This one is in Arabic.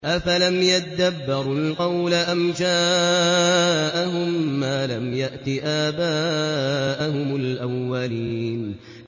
أَفَلَمْ يَدَّبَّرُوا الْقَوْلَ أَمْ جَاءَهُم مَّا لَمْ يَأْتِ آبَاءَهُمُ الْأَوَّلِينَ